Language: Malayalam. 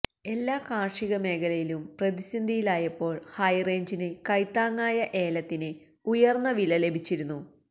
എല്ലാ കാര്ഷിക മേഖലയും പ്രതിസന്ധിയിലായപ്പോള് ഹൈറേഞ്ചിന് കൈത്താങ്ങായ ഏലത്തിന് ഉയര്ന്ന വില ലഭിച്ചിരുന്നു